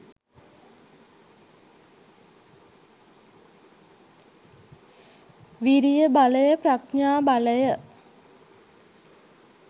විරිය බලය, ප්‍රඥා බලය,